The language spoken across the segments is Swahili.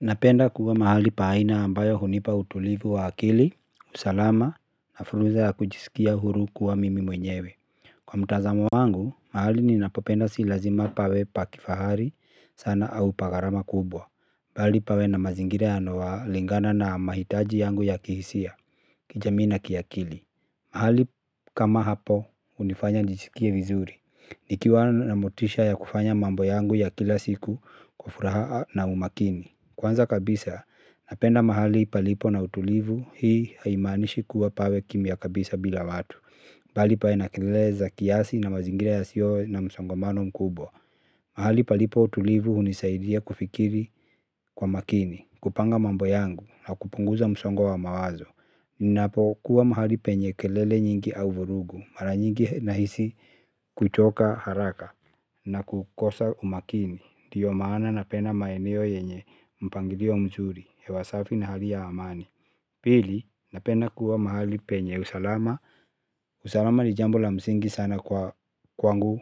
Napenda kuwa mahali pahaina ambayo hunipa utulivu wa akili, usalama na furuza ya kujisikia huru kuwa mimi mwenyewe. Kwa mutazamo wangu, mahali ninapopenda silazima pawe pakifahari sana au pakarama kubwa. Bali pawe na mazingire yanoalingana na mahitaji yangu ya kihisia, kijamii na kiyakili. Mahali kama hapo, unifanya njijisikie vizuri. Nikiwa na motisha ya kufanya mambo yangu ya kila siku kwa furaha na umakini. Kwanza kabisa, napenda mahali palipo na utulivu, hii haimanishi kuwa pawe kimiya kabisa bila watu, bali pawe na kelele za kiasi na mazingira yasiyo na msongomano mkubwa. Mahali palipo utulivu unisaidia kufikiri kwa makini, kupanga mambo yangu na kupunguza msongo wa mawazo. Ninapo kuwa mahali penye kelele nyingi au vurugu, mara nyingi nahisi kuchoka haraka na kukosa umakini. Ndiyo maana napenda maeneo yenye mpangilio mzuri, hewasafi na hali ya amani. Pili, napenda kuwa mahali penye usalama. Usalama ni jambo la msingi sana kwa kwangu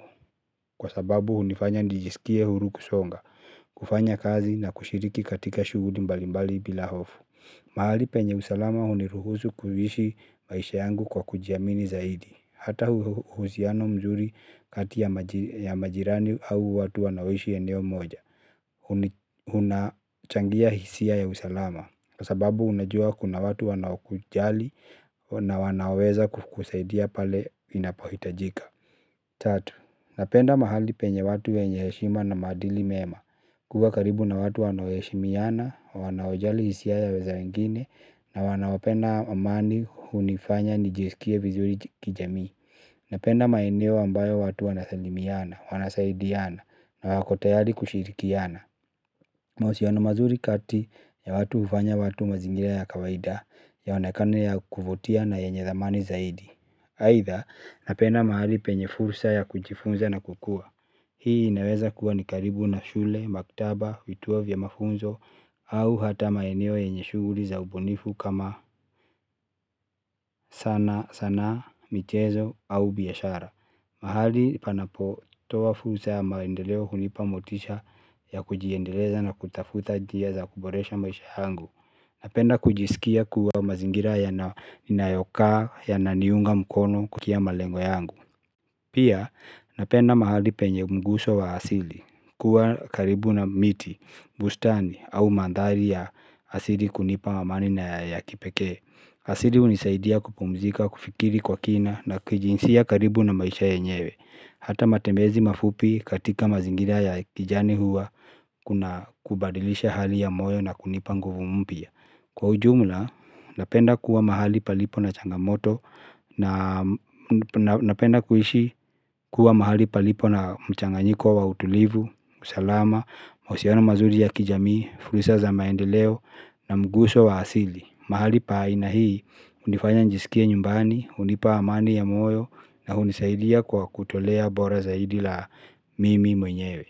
kwa sababu unifanya nijisikie huru kusonga. Kufanya kazi na kushiriki katika shuguli mbalimbali bila hofu mahali penye usalama huniruhusu kuishi maisha yangu kwa kujiamini zaidi hata uhusiano mzuri kati ya majirani au watu wanoishi eneo moja. Hunachangia hisia ya usalama. Kwa sababu unajua kuna watu wanawakujali na wanaweza kufukusaidia pale inapahitajika. Tatu, napenda mahali penye watu wenye heshima na madili mema. Kuwa karibu na watu wanaoheshimiana, wanaojali hisia za wengine na wanaopenda amani hunifanya nijiskie vizuri kijamii. Napenda maeneo ambayo watu wanasalimiana, wanasaidiana. Na wako tayari kushirikiana. Mahusiano mazuri kati ya watu hufanya watu mazingira ya kawaida yaonekane ya kuvutia na yenye dhamani zaidi. Aidha napenda mahali penye fursa ya kujifunza na kukua. Hii inaweza kuwa ni karibu na shule, maktaba, vituo vya mafunzo, au hata maeneo yenye shughuli za ubunifu kama sana, sanaa, michezo, au biashara. Mahali panapo toa fursa ya maendeleo hunipa motisha ya kujiendeleza na kutafuta njia za kuboresha maisha yangu. Napenda kujisikia kuwa mazingira ninayokaa yananiunga mkono kufikia malengo yangu. Pia napenda mahali penye mguso wa asili kuwa karibu na miti, bustani au mandhari ya asili kunipa mamani na ya kipeke. Asili hunisaidia kupumzika, kufikiri kwa kina na kijinsia karibu na maisha yenyewe. Hata matemezi mafupi katika mazingira ya kijani huwa kuna kubadilisha hali ya moyo na kunipa nguvu mupya. Kwa ujumla, napenda kuwa mahali palipo na changamoto na napenda kuishi kuwa mahali palipo na mchanganyiko wa utulivu, usalama, mahusiona mazuri ya kijamii, fursa za maendeleo na mguso wa asili. Mahali paa ina hii, hunifanya njisikie nyumbani, hunipa amani ya moyo na hunisaidia kwa kutolea bora zaidi la mimi mwenyewe.